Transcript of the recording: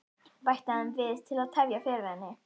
bætti hann við til að tefja fyrir henni.